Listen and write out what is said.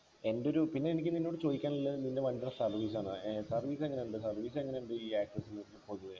എൻ്റെ ഒരു പിന്നെ എനിക്ക് നിന്നോട് ചോദിക്കാനുള്ളത് നിൻ്റെ വണ്ടിടെ service ആണ് ഏർ service എങ്ങനയുണ്ട് service എങ്ങനുണ്ട് ഈ access നു പൊതുവെ